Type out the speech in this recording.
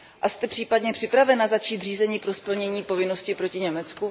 Jste případně připravena začít řízení pro splnění povinnosti proti Německu?